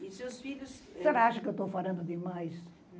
E seus filhos... Você não acha que eu estou falando demais?